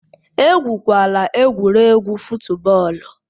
Egwukwala egwuregwu fụtbọọlu!